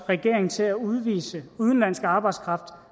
regeringen til at udvise udenlandsk arbejdskraft